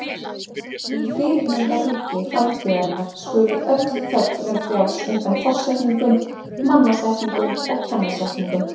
Í fyrirmyndarríki framtíðarinnar skulu öll föll vera frjáls undan forsetningum, mannasetningum og kennisetningum.